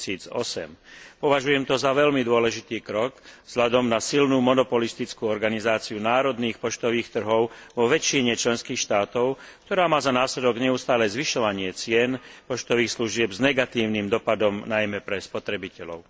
2008. Považujem to za veľmi dôležitý krok vzhľadom na silnú monopolistickú organizáciu národných poštových trhov vo väčšine členských štátov, ktorá má za následok neustále zvyšovanie cien poštových služieb s negatívnym dopadom najmä pre spotrebiteľov.